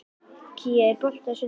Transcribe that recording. Kía, er bolti á sunnudaginn?